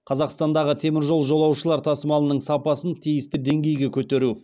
қазақстандағы теміржол жолаушылар тасымалының сапасын тиісті деңгейге көтеру